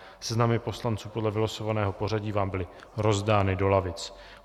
Seznamy poslanců podle vylosovaného pořadí vám byly rozdány do lavic.